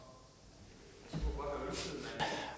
at